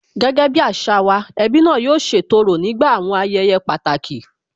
Gẹ́gẹ́ bí àṣà wa, ẹbí náà yóò ṣètò òrò nígbà àwọn ayẹyẹ pàtàkì